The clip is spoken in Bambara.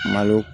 Malo